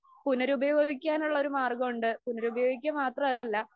പുനരുയോഗിക്കാനുള്ള ഒരു മാർഗം ഉണ്ട് പുനരുയോഗിക്ക മാത്രമല്ല